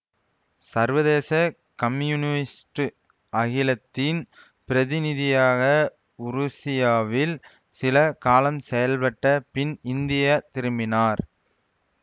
சர்வதேச கம்யூனிஸ்டு அகிலத்தின் பிரதிநிதியாக உருசியாவில் சில காலம் செயல்பட்ட பின் இந்திய திரும்பினார்